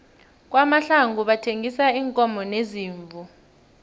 kwamahlangu bathengisa iinkomo neziimvu